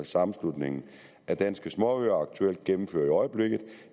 sammenslutningen af danske småøer aktuelt gennemfører